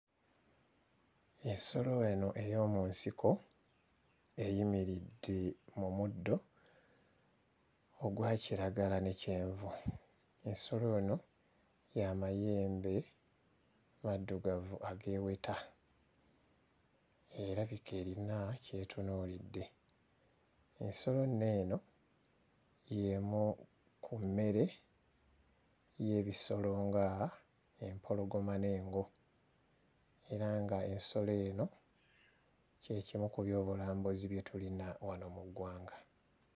Ensolo wano ey'omu nsiko eyimiridde mu muddo ogwa kiragala ne kyenvu. Ensolo eno ya mayembe maddugavu ageeweta erabika erina ky'etunuulidde. Ensolo nno eno y'emu ku mmere y'ebisolo ng'empologoma n'engo. Era nga ensolo eno kye kimu ku byobulambuzi bye tulina wano mu ggwanga.